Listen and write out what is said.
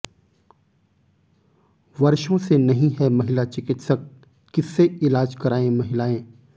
वर्षों से नहीं है महिला चिकित्सक किससे इलाज कराएं महिलाएं